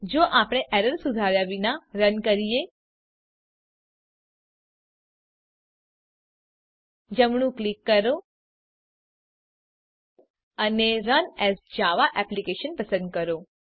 જો આપણે એરર સુધાર્યા વિના રન કરીએ જમણું ક્લિક કરો અને રન એએસ જાવા એપ્લિકેશન પસંદ કરો